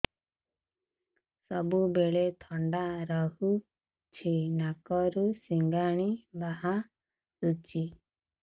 ସବୁବେଳେ ଥଣ୍ଡା ରହୁଛି ନାକରୁ ସିଙ୍ଗାଣି ବାହାରୁଚି